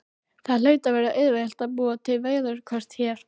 Það hlaut að vera auðvelt að búa til veðurkort hér.